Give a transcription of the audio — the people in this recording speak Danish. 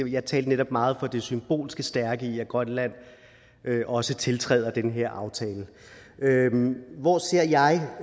jeg talte netop meget for det symbolske stærke i at grønland også tiltræder den her aftale hvor ser jeg